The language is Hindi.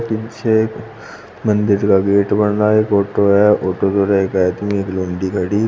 पीछे एक मंदिर का गेट बन रहा है। एक ऑटो है। ऑटो के एक आदमी एक --